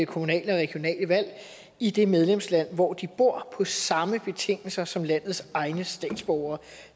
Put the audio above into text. kommunale og regionale valg i det medlemsland hvor de bor på samme betingelser som landets egne statsborgere